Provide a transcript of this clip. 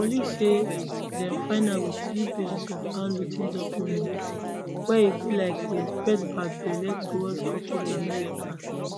police say dem find am with three pages of handwrit ten documents where e be like e express bad belle towards corporate america